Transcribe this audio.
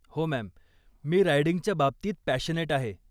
हो, मॅम, मी रायडिंगच्या बाबतीत पॅशनेट आहे .